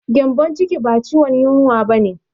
Gyambon ciki ba ciwon yunwa ba ne.